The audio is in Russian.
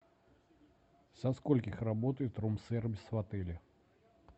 со скольких работает рум сервис в отеле